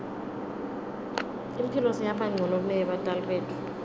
imphilo seyabancono kuneyebatali betfu